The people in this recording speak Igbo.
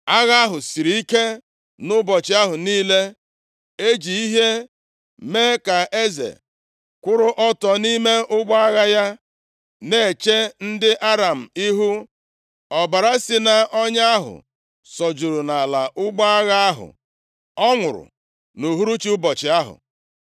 Agha ahụ siri ike nʼụbọchị ahụ niile, e ji ihe mee ka eze kwụrụ ọtọ nʼime ụgbọ agha ya na-eche ndị Aram ihu. Ọbara si nʼọnya ahụ sọjuru nʼala ụgbọ agha ahụ, ọ nwụrụ nʼuhuruchi ụbọchị ahụ.